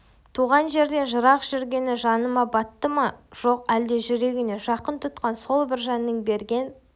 туған жерден жырақ жүргені жанына батты ма жоқ әлде жүрегіне жақын тұтқан сол бір жанның берген